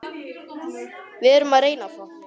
Við erum að reyna það.